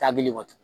Taabi wa